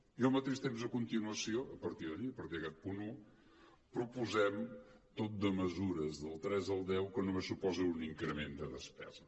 i al mateix temps a continuació a par·tir d’allí a partir d’aquest punt un proposem tot de mesures del tres al deu que només suposen un increment de despesa